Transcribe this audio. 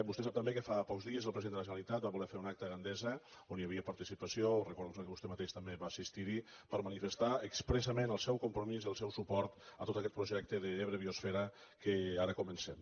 vostè sap també que fa pocs dies el president de la ge·neralitat va voler fer un acte a gandesa on hi havia participació recordo que vostè mateix també va assis·tir·hi per manifestar expressament el seu compromís i el seu suport a tot aquest projecte d’ebre biosfera que ara comencem